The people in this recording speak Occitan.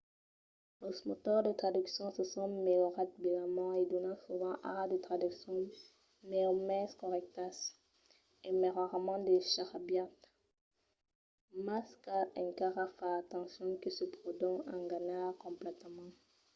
los motors de traduccion se son melhorats bèlament e donan sovent ara de traduccions mai o mens corrèctas e mai rarament de charabiat mas cal encara far atencion que se pòdon enganar completament